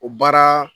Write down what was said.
O baara